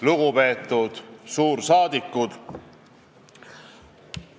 Lugupeetud suursaadikud!